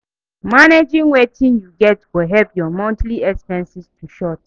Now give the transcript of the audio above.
Managing wetin yu get go help yur monthly expenses to short